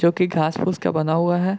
जो कि घांस-फूस का बना हुआ है।